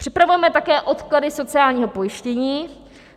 Připravujeme také odklady sociálního pojištění.